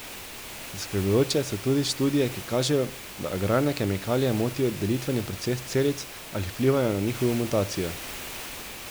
Zaskrbljujoče so tudi študije, ki kažejo, da agrarne kemikalije motijo delitveni proces celic ali vplivajo na njihovo mutacijo.